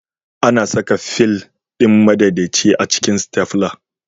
Ana saka fil ɗin madaidaici a cikin Stafla